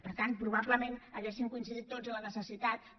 per tant probablement hauríem coincidit tots en la necessitat de